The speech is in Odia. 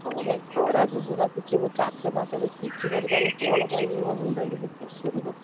ହଁ ବା ଏଇ ଖରା ଯୋଗୁରୁ ବା କିଛି ମୁଁ ଚାଷ ଫାସ କିଛି କରିପାରୁନି କଣ କରିବି ମୋ ମୁଣ୍ଡରେ କିଛି ପଶୁନି ବା।